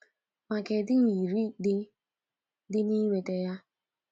Ma kedụ nyiri dị dị na inweta ya?